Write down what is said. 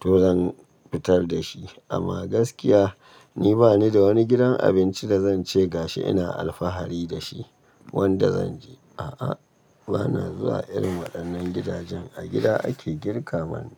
to zan fitar da shi. Ama gaskiya ni bani da wani gidan abinci da zan ce gashi ina alfahari da shi wanda zan je a'a. Bana zuwa irin waɗannan gidajen a gida ake girka mana.